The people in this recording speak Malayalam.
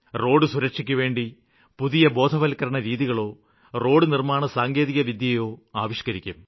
റോഡ് സുരക്ഷയ്ക്കുവേണ്ടി പുതിയ ബോധവത്ക്കരണരീതികളോ റോഡു നിര്മ്മാണ സാങ്കേതികവിദ്യയോ ആവിഷ്ക്കരിക്കും